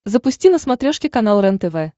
запусти на смотрешке канал рентв